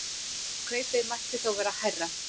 Kaupið mætti þó vera hærra.